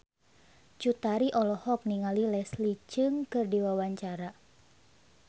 Cut Tari olohok ningali Leslie Cheung keur diwawancara